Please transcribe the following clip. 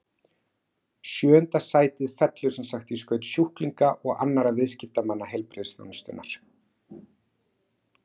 Sjöunda sætið fellur sem sagt í skaut sjúklinga og annarra viðskiptamanna heilbrigðisþjónustunnar.